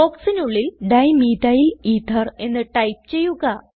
ബോക്സിനുള്ളിൽ dimethyl ether എന്ന് type ചെയ്യുക